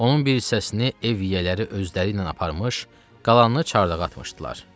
Onun bir hissəsini ev yiyələri özləri ilə aparmış, qalanını çardağa atmışdılar.